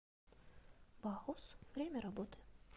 бахус время работы